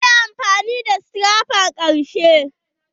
Shi yayi amfani da scraper ƙarshe.